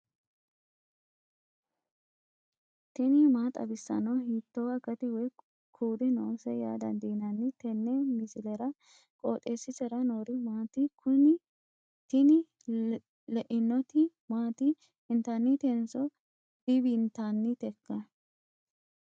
tini maa xawissanno ? hiitto akati woy kuuli noose yaa dandiinanni tenne misilera? qooxeessisera noori maati? kuni tini leinoti maati intannitenso divintanniteikka